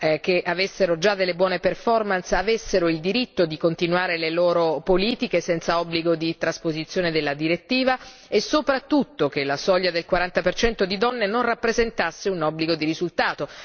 che avessero già delle buone avessero il diritto di continuare le loro politiche senza obbligo di trasposizione della direttiva e soprattutto che la soglia del 40 di donne non rappresentasse un obbligo di risultato.